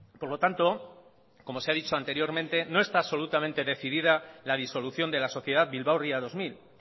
por lo tanto como se ha dicho anteriormente no está absolutamente decidida la disolución de la sociedad bilbao ría dos mil